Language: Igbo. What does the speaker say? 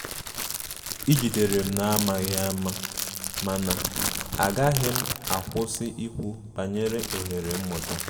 I jidere m n'amaghi ama, mana agaghim akwụsi ikwu banyere ohere mmuta